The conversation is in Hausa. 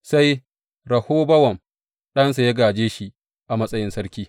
Sai Rehobowam ɗansa ya gāje shi a matsayin sarki.